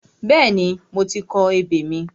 Bẹ́ẹ̀ni, mo ti kọ ebè mi.